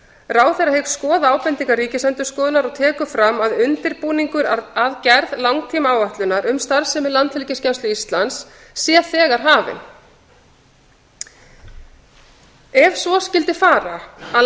ráðherra hyggst skoða ábendingar ríkisendurskoðunar og tekur fram að undirbúningur að gerð langtímaáætlunar um starfsemi landhelgisgæslu íslands sé þegar hafin ef svo skyldi fara að